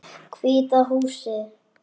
Hvíta húsið.